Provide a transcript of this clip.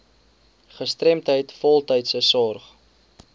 gestremdheid voltydse sorg